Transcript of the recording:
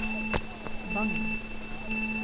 Bagn